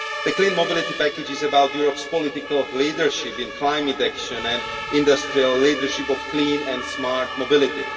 The Clean Mobility Package is about Europe's political leadership in climate action and industrial leadership in clean and smart mobility.